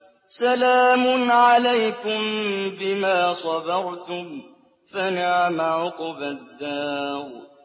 سَلَامٌ عَلَيْكُم بِمَا صَبَرْتُمْ ۚ فَنِعْمَ عُقْبَى الدَّارِ